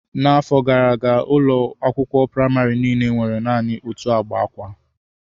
N'afọ gara aga, ụlọ akwụkwọ praịmarị niile nwere naanị otu agba akwa.